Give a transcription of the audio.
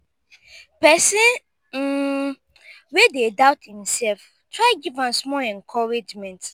pesin um wey dey doubt imself try giv am small encouragement